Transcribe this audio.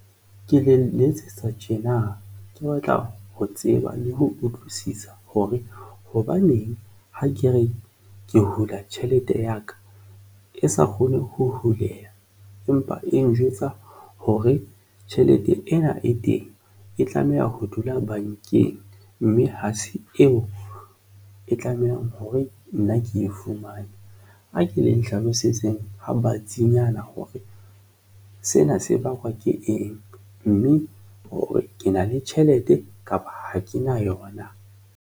Ke le letsetsa tjena ke batla ho tseba le ho utlwisisa hore hobaneng ha ke re ke hula tjhelete ya ka e sa kgone ho huleya, empa e njwetsa hore tjhelete ena e teng e tlameha ho dula bankeng mme ha se eo e tlamehang hore nna ke e fumane. A ke le Nhlalosetseng ha batsi nyana hore sena se bakwa ke eng mme hore ke na le tjhelete kapa ha ke na yona.